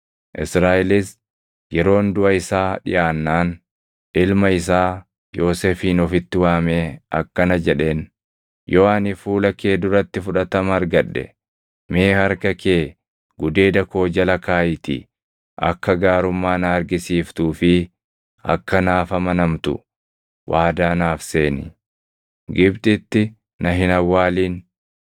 Israaʼelis yeroon duʼa isaa dhiʼaannaan ilma isaa Yoosefin ofitti waamee akkana jedheen; “Yoo ani fuula kee duratti fudhatama argadhe, mee harka kee gudeeda koo jala kaaʼiitii akka gaarummaa na argisiiftuu fi akka naaf amanamtu waadaa naaf seeni. Gibxitti na hin awwaalin;